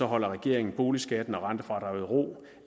holder regeringen boligskatten og rentefradraget i ro